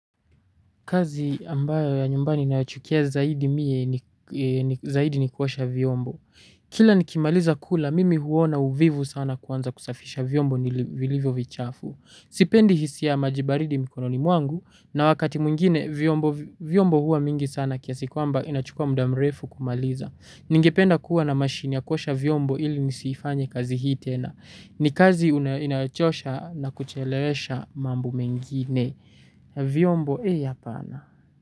Kazi ambayo ya nyumbani ninayochukia zaidi mie ni kuosha vyombo. Kila nikimaliza kula mimi huona uvivu sana kuanza kusafisha vyombo vilivyo vichafu. Sipendi hisia ya maji baridi mikononi mwangu na wakati mwingine vyombo hua mingi sana kiasi kwamba inachukua muda mrefu kumaliza. Ningependa kuwa na mashine ya kuosha vyombo ili nisifanye kazi hii tena. Ni kazi inayochosha na kuchelewesha mambo mengine. Vyombo eeh hapana.